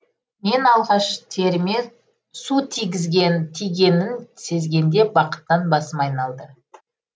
мен алғаш теріме су тигеннің сезгенде бақыттан басым айналды